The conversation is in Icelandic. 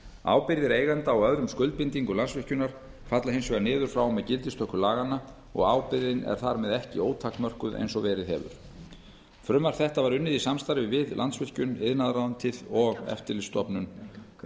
ábyrgðir eigenda á öðrum skuldbindingum landsvirkjunar falla hins vegar niður frá og með gildistöku laganna og ábyrgðin er þar með ekki ótakmörkuð eins og verið hefur frumvarp þetta var unnið í samstarfi við landsvirkjun iðnaðarráðuneytið og eftirlitsstofnun